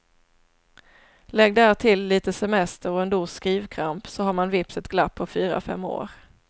Lägg därtill lite semester och en dos skrivkramp så har man vips ett glapp på fyra fem år.